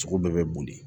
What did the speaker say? Sogo bɛɛ bɛ boli